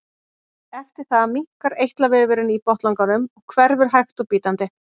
eftir það minnkar eitlavefurinn í botnlanganum og hverfur hægt og bítandi